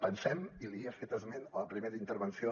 pensem i hi he fet esment a la primera intervenció